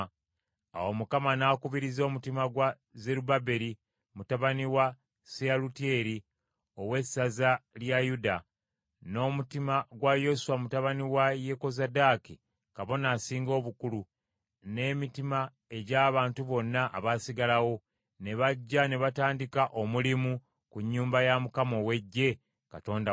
Awo Mukama n’akubiriza omutima gwa Zerubbaberi mutabani wa Seyalutyeri, ow’essaza lya Yuda, n’omutima gwa Yoswa mutabani wa Yekozadaaki, kabona asinga obukulu, n’emitima egy’abantu bonna abaasigalawo, ne bajja ne batandika omulimu ku nnyumba ya Mukama ow’Eggye, Katonda waabwe,